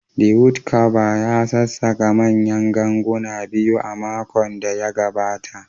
The wood Carver ya sassaƙa manyan ganguna biyu a makon da ya gabata